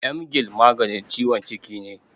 Emgyl maganin ciwon ciki ne.